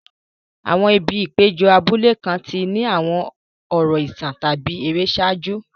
Àwọn ibi ìpéjọ abúlé kan ti ní àwọn ọ̀rọ̀ ìtàn tàbí ère ṣáájú.